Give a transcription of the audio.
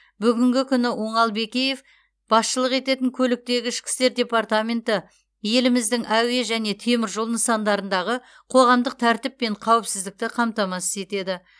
бүгінгі күні оңал бекеев басшылық ететін көліктегі ішкі істер департаменті еліміздің әуе және темір жол нысандарындағы қоғамдық тәртіп пен қауіпсіздікті қамтамасыз етеді